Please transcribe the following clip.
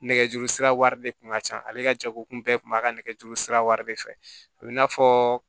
Nɛgɛjuru sira wari de kun ka ca ale ka jɛkulu kun bɛɛ tun b'a ka nɛgɛjuru sira wɛrɛ de fɛ a bɛ n'a fɔ